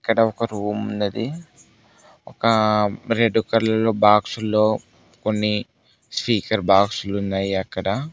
ఇక్కడ ఒక రూమ్ ఉన్నది ఒక రెడ్ కలర్ లో బాక్స్ లో కొన్ని స్పీకర్ బాక్స్ లు ఉన్నాయి అక్కడ.